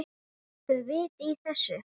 Er nokkurt vit í þessu?